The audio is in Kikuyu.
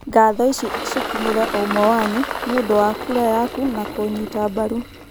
"Ngatho ici cikinyere o ũmwe wanyu. Nĩ ũndũ wa kura yaku na kũnyiita mbaru.